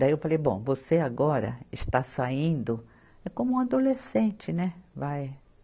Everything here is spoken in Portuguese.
Daí eu falei, bom, você agora está saindo é como um adolescente, né? vai